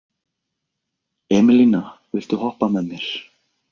Emelína, viltu hoppa með mér?